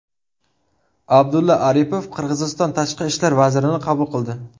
Abdulla Aripov Qirg‘iziston tashqi ishlar vazirini qabul qildi.